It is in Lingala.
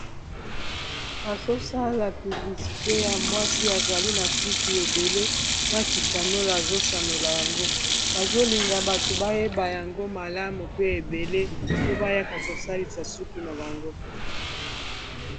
bazosala piblisite ya mwasi azali na suki ebele na kisanolo azosanola yango bazolinga bato bayeba yango malamu pe ebele po bayaka kosalisa suki na bango